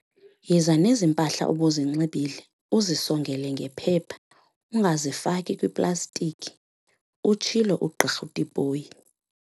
"Yiza nezi mpahla ubuzinxibile uzisongele ngephepha, ungazifaki kwiplastiki," utshilo uGq Tipoy.